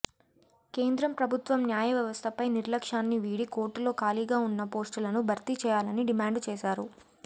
కేంద్ర ప్రభుత్వం న్యాయవ్యవస్థపై నిర్లక్ష్యాన్ని వీడి కోర్టుల్లో ఖాళీగా ఉన్న పోస్టులను భర్తీ చేయాలని డిమాండ్ చేశారు